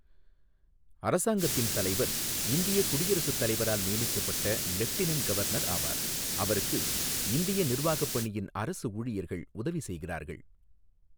அரசாங்கத்தின் தலைவர் இந்தியக் குடியரசுத் தலைவரால் நியமிக்கப்பட்ட லெஃப்டினன்ட் கவர்னர் ஆவார், அவருக்கு இந்திய நிர்வாகப் பணியின் அரசு ஊழியர்கள் உதவி செய்கிறார்கள்.